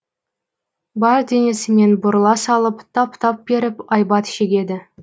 бар денесімен бұрыла салып тап тап беріп айбат шегеді